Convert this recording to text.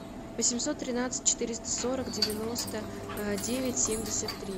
восемьсот тринадцать четыреста сорок девяносто девять семьдесят три